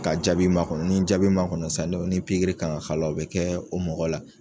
Ka jaabi makɔnɔ n'i jaabi makɔnɔ san ni ni pikiri kan ŋa k'a la o be kɛɛ o mɔgɔ la.